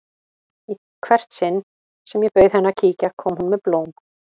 Í hvert sinn sem ég bauð henni að kíkja kom hún með blóm.